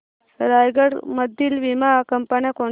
रायगड मधील वीमा कंपन्या कोणत्या